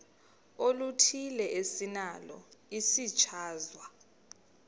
oluthile esinalo isichazwa